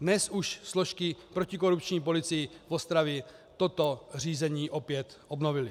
Dnes už složky protikorupční policie v Ostravě toto řízení opět obnovily.